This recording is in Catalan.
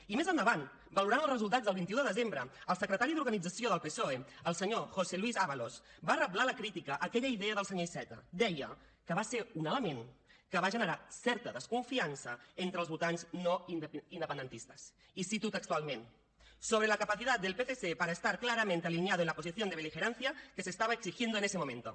i més endavant valorant els resultats del vint un de desembre el secretari d’organització del psoe el senyor josé luís ábalos va reblar la crítica a aquella idea del senyor iceta deia que va ser un element que va generar certa desconfiança entre els votants no independentistes i cito textualment sobre la capacidad del psc para estar claramente alineado en la posición de beligerancia que se estaba exigiendo en este momento